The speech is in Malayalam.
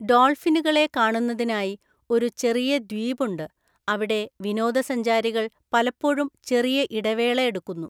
ഡോൾഫിനുകളെ കാണുന്നതിനായി ഒരു ചെറിയ ദ്വീപ് ഉണ്ട്, അവിടെ വിനോദസഞ്ചാരികൾ പലപ്പോഴും ചെറിയ ഇടവേള എടുക്കുന്നു.